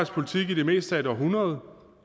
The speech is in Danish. politik i det meste af et århundrede